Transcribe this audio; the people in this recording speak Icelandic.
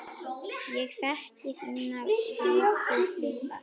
Ég þekki þínar veiku hliðar.